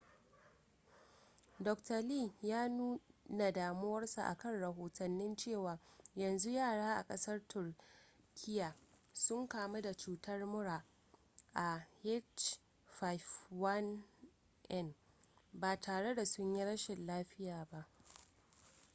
dr. lee ya nuna damuwarsa akan rahotanni cewa yanzu yara a ƙasar turkiya sun kamu da cutar murar ah5n1 ba tare da sun yi rashin lafiya ba